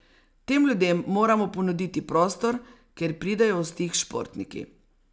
Tem ljudem moramo ponuditi prostor, kjer pridejo v stik s športniki.